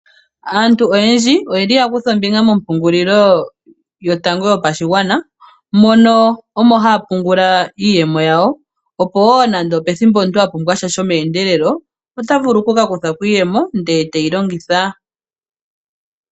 Aantu oyendji oye li ya kutha ombinga mompungulilo yotango yopashigwana mono omo haya pungula iiyemo yawo opo wo nande opethimbo omuntu a pumbwasha shomeendelelo ota vulu okukakuthako iiyemo ndele e te yi longitha.